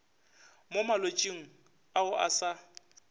mo malwetšing ao a sa